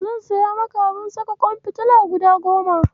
zan siyo maka abun saka ƙwan fitila guda goma.